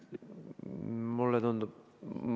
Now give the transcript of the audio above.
Mulle tundub, et ...